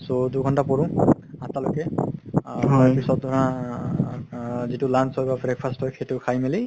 so দুঘন্তা পঢ়ো আঠতা লৈকে তাৰ পিছত ধৰা যিতো lunch হয় বা breakfast হয় সেইটো খাই মিলি